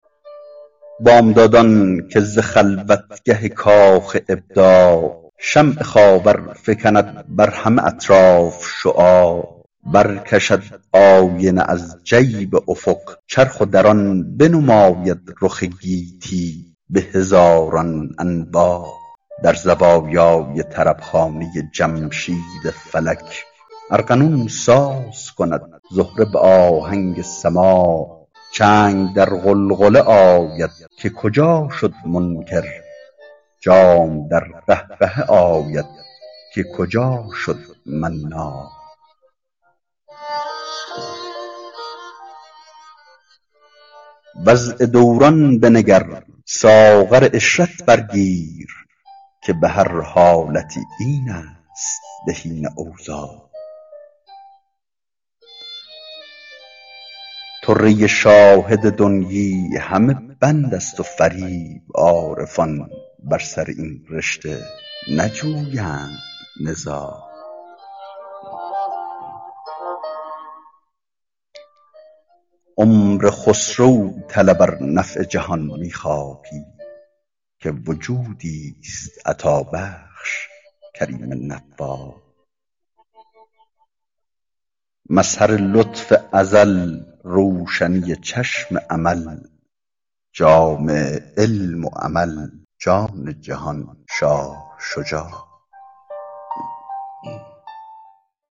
بامدادان که ز خلوتگه کاخ ابداع شمع خاور فکند بر همه اطراف شعاع برکشد آینه از جیب افق چرخ و در آن بنماید رخ گیتی به هزاران انواع در زوایای طربخانه جمشید فلک ارغنون ساز کند زهره به آهنگ سماع چنگ در غلغله آید که کجا شد منکر جام در قهقهه آید که کجا شد مناع وضع دوران بنگر ساغر عشرت بر گیر که به هر حالتی این است بهین اوضاع طره شاهد دنیی همه بند است و فریب عارفان بر سر این رشته نجویند نزاع عمر خسرو طلب ار نفع جهان می خواهی که وجودیست عطابخش کریم نفاع مظهر لطف ازل روشنی چشم امل جامع علم و عمل جان جهان شاه شجاع